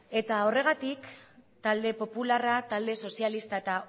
eta horregatik talde popularra talde sozialista eta